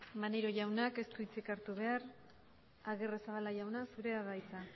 maneiro jaunak ez du hitzik hartu behar agirrezabala jauna zurea da hitza